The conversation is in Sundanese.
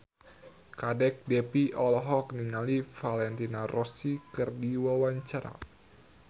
Kadek Devi olohok ningali Valentino Rossi keur diwawancara